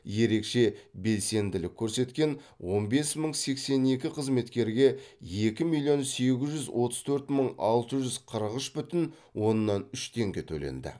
ерекше белсенділік көрсеткен он бес мың сексен екі қызметкерге екі миллион сегіз жүз отыз төрт мың алты жүз қырық үш бүтін оннан үш теңге төленді